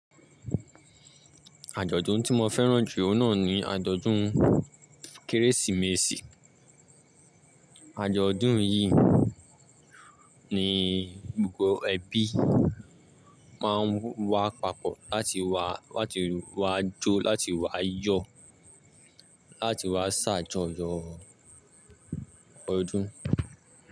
Àjọ̀dún tí mo fẹ́ràn jù ọ́n náà ni àjọ̀dún Kérésìmesì. Àjọ̀dún yìí ni gbogbo ẹbí máa ń wá papọ̀ láti wá, láti wá jó, láti wá yọ̀, láti wá ṣàjọyọ̀ ọdún.